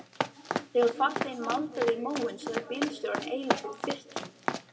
Þegar farþeginn maldaði í móinn sagði bílstjórinn eilítið fyrtinn